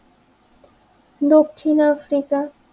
Dakshin Africa